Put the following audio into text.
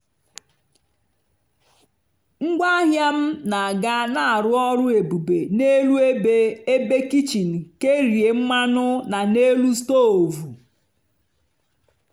ngwaahịa m na-aga na-arụ ọrụ ebube n'elu ebe ebe kichin kerie mmanụ na n'elu stovu.